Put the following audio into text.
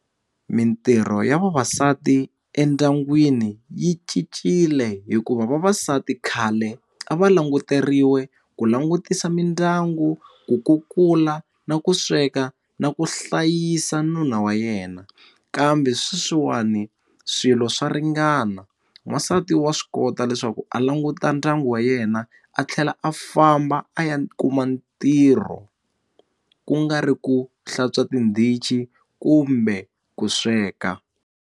Mitirho ya vavasati endyangwini yi cincile hikuva vavasati khale a va languteriwe ku langutisa mindyangu ku kukula na ku sweka na ku hlayisa nuna wa yena kambe sweswiwani swilo swa ringana wasati wa swi kota leswaku a languta ndyangu wa yena a tlhela a famba a ya kuma ntirho ku nga ri ku hlantswa tindichi kumbe ku sweka.